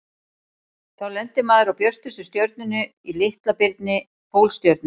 Þá lendir maður á björtustu stjörnunni í Litla-birni, Pólstjörnunni.